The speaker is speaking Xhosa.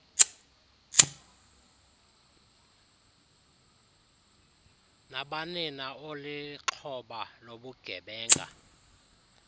nabanina olixhoba lobugebenga